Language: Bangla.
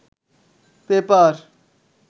পেপার